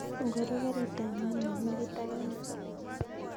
Ngoro karit ap maat ne negit ak ane